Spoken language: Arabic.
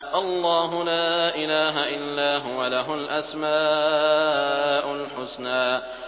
اللَّهُ لَا إِلَٰهَ إِلَّا هُوَ ۖ لَهُ الْأَسْمَاءُ الْحُسْنَىٰ